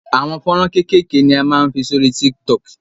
Àwọn fọ́nrán kékèké ni a máa ń fi sórí TikTok.